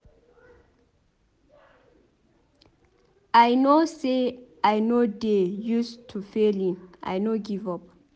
I no say I no dey use to failing I no give up.